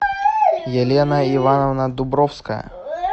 елена ивановна дубровская